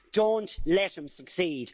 Don't let him succeed.